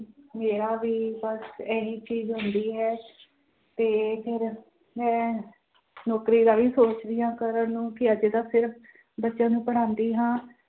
ਮੇਰਾ ਵੀ ਬਸ ਇਹੀ ਚੀਜ਼ ਹੁੰਦੀ ਹੈ ਤੇ ਫਿਰ ਮੈਂ ਨੌਕਰੀ ਦਾ ਵੀ ਸੋਚ ਰਹੀ ਹਾਂ ਕਰਨ ਨੂੰ ਕਿ ਅਜੇ ਤਾਂ ਸਿਰਫ਼ ਬੱਚਿਆਂ ਨੂੰ ਪੜ੍ਹਾਉਂਦੀ ਹਾਂ